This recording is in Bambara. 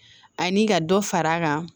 Ani ka dɔ fara a kan